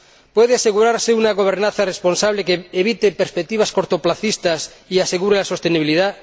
¿Puede asegurarse una gobernanza responsable que evite perspectivas a corto plazo y asegure la sostenibilidad?